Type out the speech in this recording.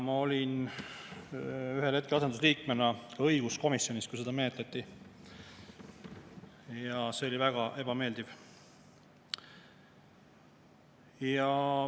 Ma olin ühel hetkel asendusliikmena õiguskomisjonis, kui seda menetleti, ja see oli väga ebameeldiv.